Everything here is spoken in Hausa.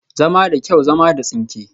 Zama da kyau, zama da tsinke